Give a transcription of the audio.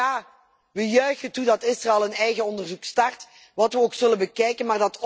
En ja, we juichen toe dat Israël een eigen onderzoek start, dat we ook zullen bekijken.